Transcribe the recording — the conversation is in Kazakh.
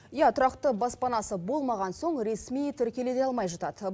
иә тұрақты баспанасы болмаған соң ресми тіркеле де алмай жатады